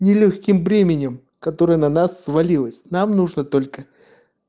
нелёгким бременем который на нас свалилась нам нужно только